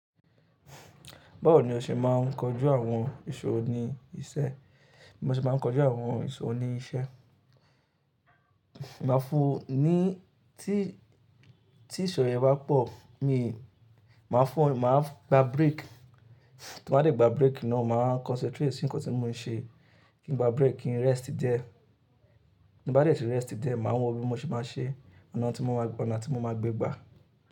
Báwo ni o ṣe máa ń kojú àwọn ìṣòwò ní isẹ́? Mo ṣe máa ń kojú àwọn ìṣòwò ní isẹ́, màá fun ní tí ìṣòwò yẹn bá pọ̀, mi màá fún un, màá gba break. Tí wọ́n bá dé gba break náà, màá concentrate sí nǹkan tí mò ń ṣe. Kí n gba break, kí n rest di e Bí bá dé tí rest di e, màá mọ bí mo ṣe máa ṣe ọ̀nà tí mo máa gbe gba.